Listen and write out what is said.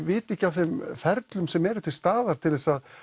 viti ekki af þeim ferlum sem eru til staðar til að